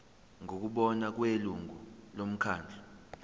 ngokubona kwelungu lomkhandlu